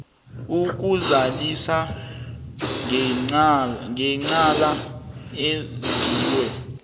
ukuzanelisa ngecala enziwe